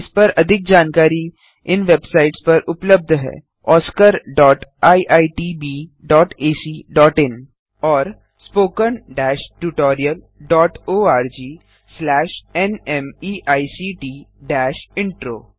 इस पर अधिक जानकारी इन वेबसाइट्स पर उबलब्ध है oscariitbacइन और spoken tutorialorgnmeict इंट्रो